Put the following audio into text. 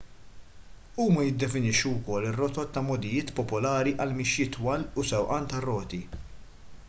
huma jiddefinixxu wkoll ir-rotot ta' mogħdijiet popolari għal mixjiet twal u sewqan tar-roti